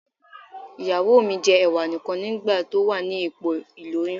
Ìyàwó mi jẹ́ Ẹ̀wà nì kan ní ìgbà tó wà ní ipò ìlóyún.